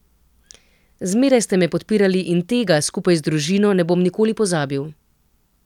Zmeraj ste me podpirali in tega, skupaj z družino, ne bom nikoli pozabil.